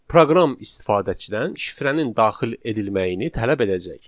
proqram istifadəçidən şifrənin daxil edilməyini tələb edəcək.